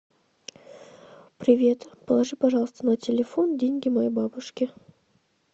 привет положи пожалуйста на телефон деньги моей бабушке